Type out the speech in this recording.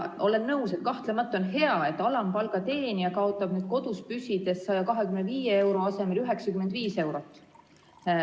Olen nõus, kahtlemata on hea, et alampalga teenija kaotab nüüd kodus püsides 125 euro asemel 95 eurot.